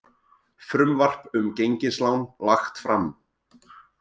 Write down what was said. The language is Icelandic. Frumvarp um gengislán lagt fram